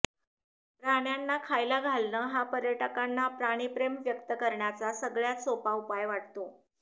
प्राण्यांना खायला घालणं हा पर्यटकांना प्राणिप्रेम व्यक्त करण्याचा सगळ्यात सोपा उपाय वाटतो